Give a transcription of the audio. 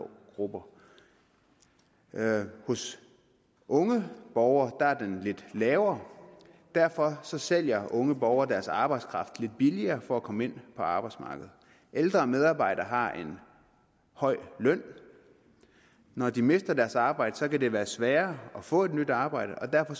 grupper hos unge borgere er den lidt lavere og derfor sælger unge borgere deres arbejdskraft lidt billigere for at komme ind på arbejdsmarkedet ældre medarbejdere har en høj løn og når de mister deres arbejde kan det være sværere at få et nyt arbejde og derfor